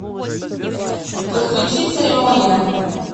подключи церемония